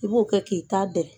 I b'o kɛ k'i ta dɛrɛ.